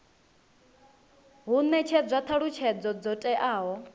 hu netshedzwa thalutshedzo dzo teaho